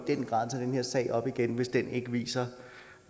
sag op igen hvis ikke viser